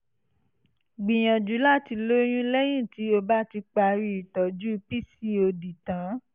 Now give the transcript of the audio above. gbìyànjú láti lóyún lẹ́yìn tí o bá ti parí ìtọ́jú pcod tán